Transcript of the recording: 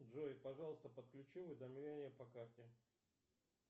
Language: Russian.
джой пожалуйста подключи уведомления по карте